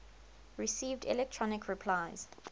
received electronic replies